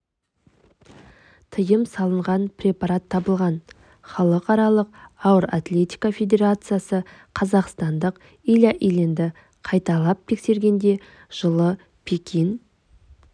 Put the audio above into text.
тиым салынған препарат табылған халықаралық ауыр атлетика федерациясы қазақстандық илья ильинді қайталап тескергенде жылы пекин